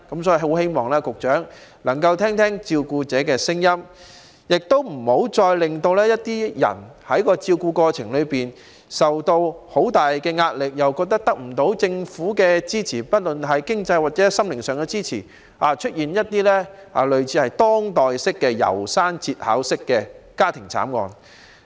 所以，希望局長能夠聆聽照顧者的聲音，不要再令照顧者在照顧過程裏受到很大壓力，覺得得不到政府經濟或心靈上的支持，以致出現類似當代"楢山節考式"的家庭慘案。